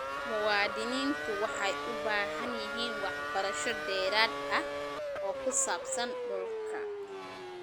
Muwaadiniintu waxay u baahan yihiin waxbarasho dheeraad ah oo ku saabsan dhulka.